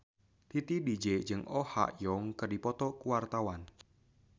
Titi DJ jeung Oh Ha Young keur dipoto ku wartawan